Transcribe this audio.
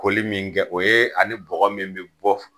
Koli min kɛ o yee ani kɔkɔ min be bɔ f